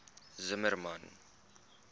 zimmermann